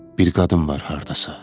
Bir qadın var hardasa.